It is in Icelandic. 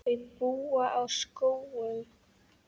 Þau búa á Skógum.